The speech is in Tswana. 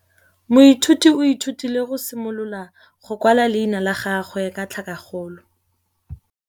Moithuti o ithutile go simolola go kwala leina la gagwe ka tlhakakgolo.